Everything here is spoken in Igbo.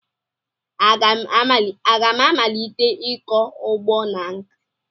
Aga m amalite ịkọ ugbo na nkà?